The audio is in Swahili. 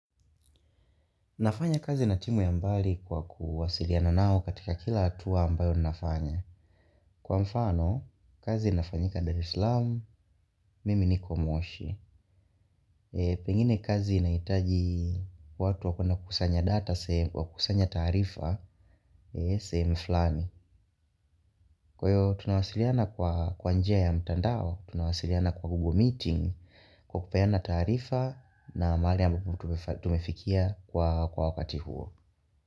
Nafanya kazi na timu ya mbali kwa kuwasiliana nao katika kila atua ambayo nafanya. Kwa mfano, kazi nafanyika Dare Islam, mimi niko moshi. Pengine kazi inaitaji kwa watu wakona kusanya data, kwa kusanya tarifa, seemu flani. Kwa hiyo, tunawasiliana kwa kwa njia ya mtandao, tunawasiliana kwa Google Meeting, kwa kupeana taarifa na maali ambabu tumefikia kwa wakati huo.